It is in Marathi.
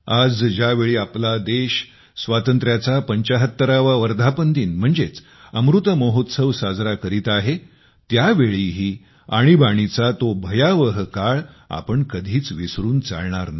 आज ज्यावेळी देश आपल्या स्वातंत्र्याचा 75 वा वर्धापन दिन म्हणजेच अमृत महोत्सव साजरा करीत आहे त्यावेळीही आणीबाणीचा तो भयावह काळ आपण कधीच विसरून चालणार नाही